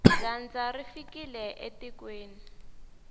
dyandza ri fikile etikweni